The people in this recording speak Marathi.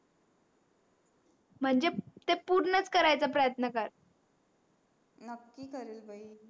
म्हणजे ते पूर्णच करायचा प्रयत्न कर नक्की करील बाई